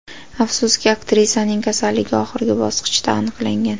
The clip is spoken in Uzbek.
Afsuski, aktrisaning kasalligi oxirgi bosqichda aniqlangan.